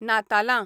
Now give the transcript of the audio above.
नातालां